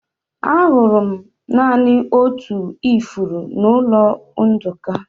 Ahụrụ m naanị otu ifuru n'ụlọ Nduka.